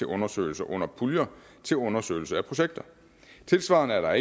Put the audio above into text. undersøgelse under pulje til undersøgelse af projekter tilsvarende er der